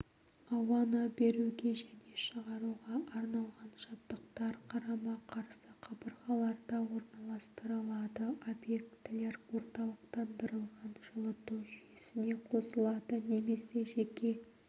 ауаны беруге және шығаруға арналған жабдықтар қарама-қарсы қабырғаларда орналастырылады объектілер орталықтандырылған жылыту жүйесіне қосылады немесе жеке